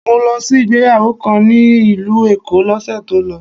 Mo lọ sí ìgbéyàwó kan ní ìlú Èkó l'ósè tó lọ